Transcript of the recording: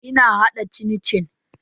Ina hada cin-cin.